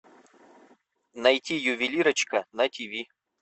найти ювелирочка на тв